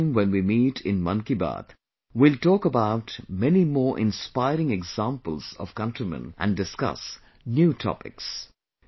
Next time when we meet in Mann Ki Baat, we will talk about many more inspiring examples of countrymen and discuss new topics